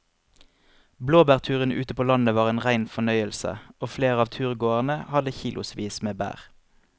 Blåbærturen ute på landet var en rein fornøyelse og flere av turgåerene hadde kilosvis med bær.